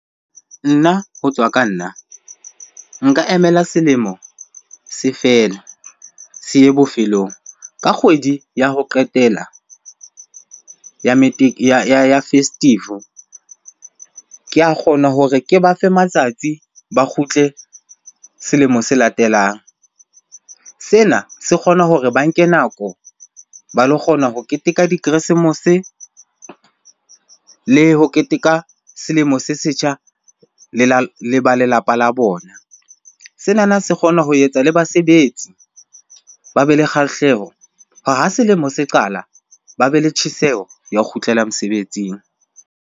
Nna ho tswa ka nna. Nka emela selemo se fela, se ye bofelong. Ka kgwedi ya ho qetela ya ya festive-o, ke a kgona hore ke ba fe matsatsi ba kgutle selemo se latelang. Sena se kgona hore ba nke nako ba lo kgona ho keteka dikeresemose le ho keteka selemo se setjha le ba lelapa la bona. Senana se kgona ho etsa le basebetsi ba be le kgahleho hore ha selemo se qala ba be le tjheseho ya ho kgutlela mosebetsing.